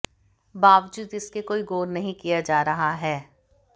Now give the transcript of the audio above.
बावजूद इसके कोई गौर नहीं किया जा रहा है